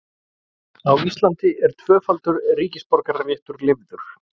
Á Íslandi er tvöfaldur ríkisborgararéttur leyfður.